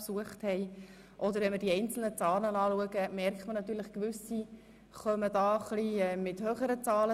Betrachtet man die einzelnen Zahlen, merkt man natürlich, dass nicht alle gleich lang im Grossen Rat waren.